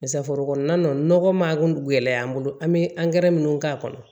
forokɔnɔna nunnu nɔgɔ ma kun gɛlɛya an bolo an be minnu k'a kɔnɔ